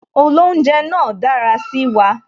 Olounje náà dára sí wa